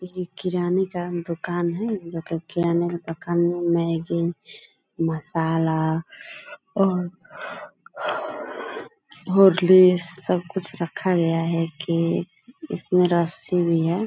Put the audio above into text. ये एक किराने का दोकान है जो कि किराने के दोकान में मैगी मशाला और हॉर्लिक्स सब कुछ रखा गया है कि इसमे रस्सी भी है ।